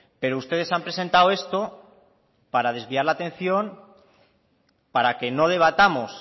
pero ustedes han presentado esto para desviar la atención para que no debatamos